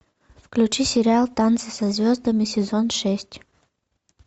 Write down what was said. включи сериал танцы со звездами сезон шесть